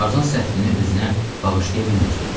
Tarzan səhvini özünə bağışlaya bilmirdi.